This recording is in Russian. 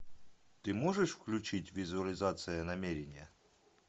ты можешь включить визуализация намерения